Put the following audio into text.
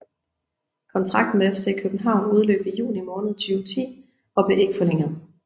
Kontrakten med FC København udløb i juni måned 2010 og blev ikke forlænget